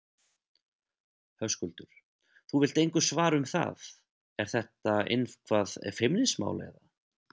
Höskuldur: Þú vilt engu svara um það, er þetta eitthvað feimnismál, eða?